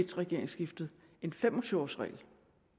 et regeringsskiftet en fem og tyve års regel